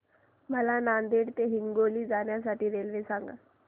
मला नांदेड ते हिंगोली जाण्या साठी रेल्वे सांगा